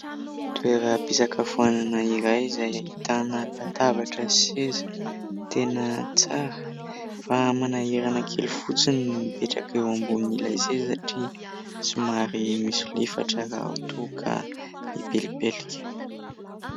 Toeram-pisakafoanana iray izay ahitana latabatra sy seza tena tsara fa manahirana kely fotsiny ny mipetraka eo ambonin'ilay seza satria somary misolifatra raha toa ka mipelipelika.